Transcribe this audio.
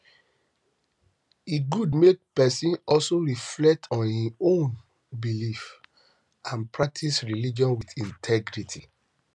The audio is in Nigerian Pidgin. e good make person also reflect on im own beliefs and practice religion with integrity